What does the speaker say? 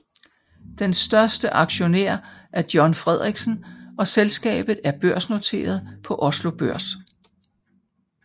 Den største aktionær er John Fredriksen og selskabet er børsnoteret på Oslo Børs